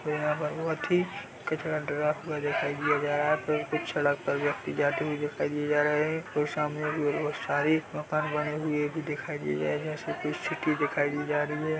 यहाँ पर बहोत ही कचरा डरा हुआ दिखाई दिया जा रहा है यहाँ पर कुछ सड़क पर व्यक्ति जाते हुए दिखाई दी जा रहा है और सामने सारी मकान बने हुए भी दिखाई दिया जा रहा है ऐसे तो सिटी दिखाई दी जा रही हैं।